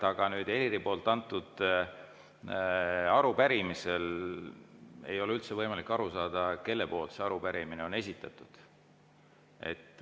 Aga Heliri arupärimisest ei ole üldse võimalik aru saada, kelle poolt see arupärimine on esitatud.